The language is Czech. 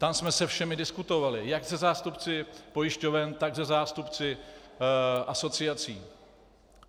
Tam jsme se všemi diskutovali - jak se zástupci pojišťoven, tak se zástupci asociací.